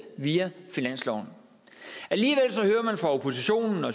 via finansloven alligevel hører man fra oppositionen og